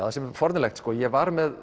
það sem er forvitnilegt ég var með